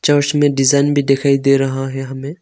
और इसमें डिजाइन भी दिखाई दे रहा है हमें।